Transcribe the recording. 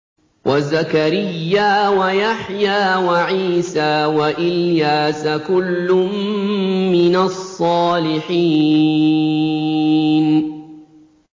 وَزَكَرِيَّا وَيَحْيَىٰ وَعِيسَىٰ وَإِلْيَاسَ ۖ كُلٌّ مِّنَ الصَّالِحِينَ